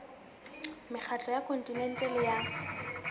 mekgatlo ya kontinente le ya